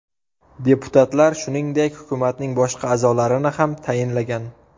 Deputatlar, shuningdek, hukumatning boshqa a’zolarini ham tayinlagan.